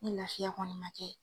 Ni laafiya kɔni man kɛ